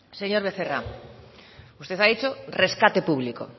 señor becerra usted ha dicho rescate público